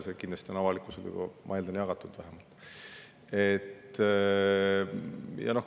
See on kindlasti, ma eeldan vähemalt, avalikkusele juba jagatud.